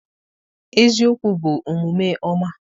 eziokwu bụ omume ọma.